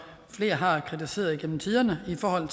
flere har kritiseret igennem tiderne